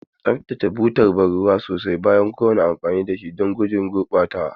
Tsaftace butar ban ruwa sosai bayan kowane amfani don guje wa gurɓatawa.